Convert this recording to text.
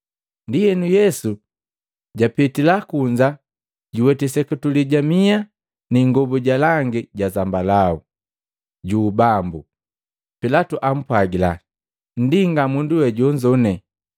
Ndienu, Yesu japitila kunza juweti seketule ja miha na ingobu ja langi ja zambalau juu bambu. Pilatu ampwagila, “Nndinga, mundu we jonzone!”